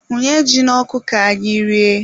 Hunye ji n'ọkụ ka anyị rie.